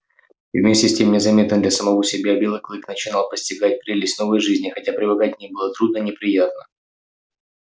и вместе с тем незаметно для самого себя белый клык начинал постигать прелесть новой жизни хотя привыкать к ней было трудно и неприятно